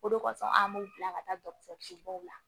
O de kosɔn an b'u bila ka taa dɔgɔtɔrɔsobaw la